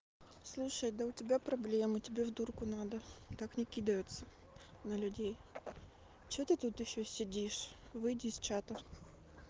слушай да у тебя проблемы тебе в дурку надо так не кидаются на людей что ты тут ещё сидишь выйди из чата